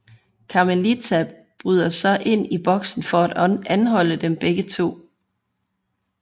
Carmelita bryder så ind i boksen for at anholde dem begge to